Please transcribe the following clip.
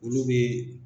Olu bɛ